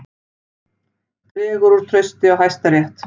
Dregur úr trausti á Hæstarétti